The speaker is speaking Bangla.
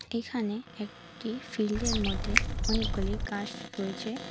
এখানে একটি ফিল্ডের মধ্যে অনেকগুলি গাস রয়েছে।